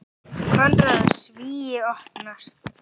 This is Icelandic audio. Konráð: Svíi opnast.